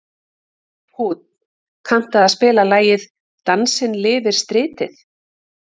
Húnn, kanntu að spila lagið „Dansinn lifir stritið“?